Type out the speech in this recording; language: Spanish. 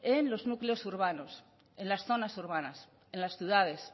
en los núcleos urbanos en las zonas urbanas en las ciudades